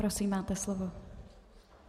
Prosím, máte slovo.